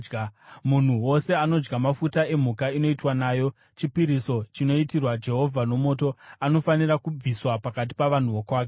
Munhu wose anodya mafuta emhuka inoitwa nayo chipiriso chinoitirwa Jehovha nomoto anofanira kubviswa pakati pavanhu vokwake.